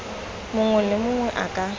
mongwe le mongwe a ka